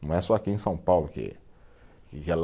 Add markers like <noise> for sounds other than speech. Não é só aqui em São Paulo, que <unintelligible>